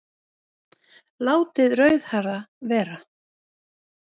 Látið rauðhærða vera